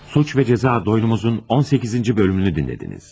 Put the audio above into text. Cinayət və Cəza Dostoyevskinin 18-ci hissəsini dinlədiniz.